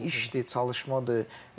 Bunlar hamısı işdi, çalışmadır.